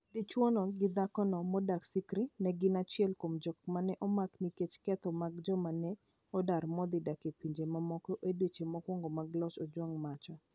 Dichwo gi dhakono modak Sikri, ne gin achiel kuom joma ne omak nikech ketho mag joma ne odar modhi dak e pinje mamoko e dweche mokwongo mag loch Ojwang Macha.